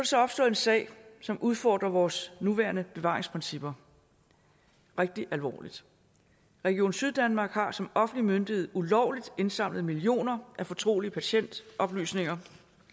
så opstået en sag som udfordrer vores nuværende bevaringsprincipper rigtig alvorligt region syddanmark har som offentlig myndighed ulovligt indsamlet millioner af fortrolige patientoplysninger